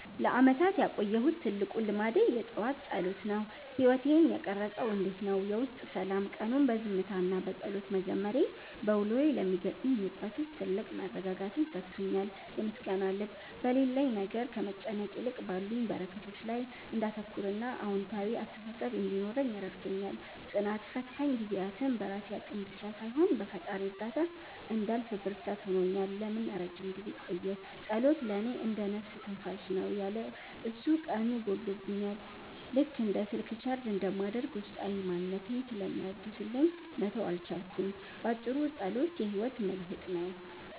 ለዓመታት ያቆየሁት ትልቁ ልማዴ የጠዋት ጸሎት ነው። ሕይወቴን የቀረፀውም እንዲህ ነው፦ የውስጥ ሰላም፦ ቀኑን በዝምታና በጸሎት መጀመሬ፣ በውሎዬ ለሚገጥሙኝ ውጥረቶች ትልቅ መረጋጋትን ሰጥቶኛል። የምስጋና ልብ፦ በሌለኝ ነገር ከመጨነቅ ይልቅ ባሉኝ በረከቶች ላይ እንዳተኩርና አዎንታዊ አስተሳሰብ እንዲኖረኝ ረድቶኛል። ጽናት፦ ፈታኝ ጊዜያትን በራሴ አቅም ብቻ ሳይሆን በፈጣሪ እርዳታ እንዳልፍ ብርታት ሆኖኛል። ለምን ለረጅም ጊዜ ቆየ? ጸሎት ለእኔ እንደ "ነፍስ ትንፋሽ" ነው። ያለ እሱ ቀኑ ጎድሎብኛል፤ ልክ እንደ ስልክ ቻርጅ እንደማድረግ ውስጣዊ ማንነቴን ስለሚያድስልኝ መተው አልቻልኩም። ባጭሩ፣ ጸሎት የሕይወቴ መልሕቅ ነው።